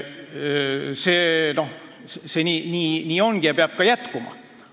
See ongi nii ja peab ka jätkuma.